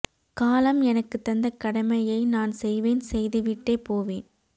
காலம் எனக்குத் தந்த கடமையை நான் செய்வேன் செய்து விட்டே போவேன்